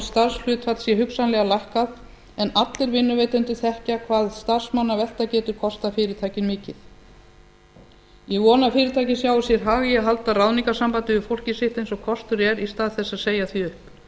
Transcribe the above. starfshlutfall sé hugsanlega lækkað en allir vinnuveitendur þekkja hvað starfsmannavelta getur kostað fyrirtækið mikið ég vona að fyrirtækið sjái sér hag í að halda ráðningarsambandi við fólkið sitt eins og kostur er í stað þess að segja því upp